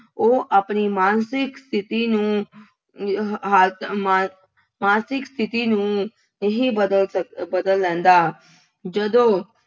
ਉਹ ਆਪਣੀ ਮਾਨਸਿਕ ਸ਼ਥਿਤੀ ਨੂੰ ਅਹ ਮਾਨ ਮਾਨਸਿਕ ਸਥਿਤੀ ਨੂੰ ਨਹੀਂ ਬਦਲ ਸਕ ਬਦਲ ਲੈਂਦਾ। ਜਦੋਂ